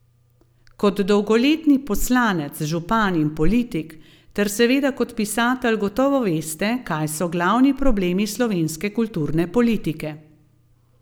Kot dolgoletni poslanec, župan in politik ter seveda kot pisatelj gotovo veste, kaj so glavni problemi slovenske kulturne politike.